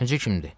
Necə kimdir?